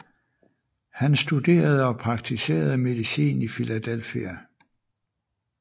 Han studerede og praktiserede medicin i Philadelphia